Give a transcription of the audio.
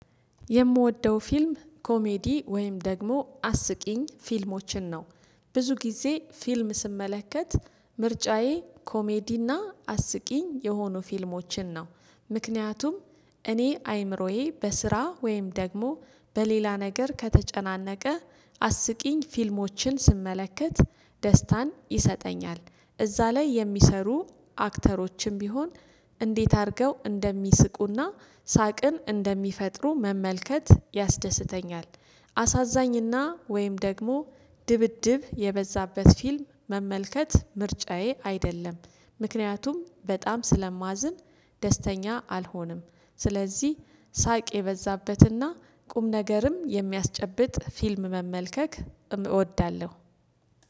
የምወደው ፊልም ኮሜዲ ወይም ደግሞ አስቂኝ ፊልሞችን ነው። ብዙ ጊዜ ፊልም ስመለከት ምርጫዬ ኮሜዲና አስቂኝ የሆኑ ፊልሞችን ነው። ምክንያቱም እኔ አይምሮዬ በስራ ወይም ደግሞ በሌላ ነገር ከተጨናነቀ አስቂኝ ፊልሞችን ስመለከት ደስታን ይሰጠኛል እዚያ ላይ የሚሰሩ አክተሮችም ቢሆን እንዴት አድርገው እንደሚስቁና ሳቅን እንደሚፈጥሩ መመልከት ያስደስተኛል። አሳዛኝና ወይም ደግሞ ድብድብ የበዛበት ፊልም መመልከት ምርጫዬ አይደለም ምክንያቱም በጣም ስለማዝን ደስተኛ አልሆንም። ስለዚህ ሳቅ የበዛበትና ቁም ነገርም የሚያስጨብጥ ፊልም መመልከት እወዳለሁ